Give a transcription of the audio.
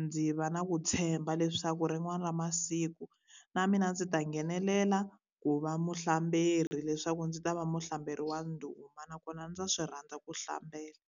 Ndzi va na ku tshemba leswaku rin'wana ra masiku, na mina ndzi ta nghenelela ku va muhlamberi leswaku ndzi ta va muhlamberi wa ndhuma nakona ndza swi rhandza ku hlambela.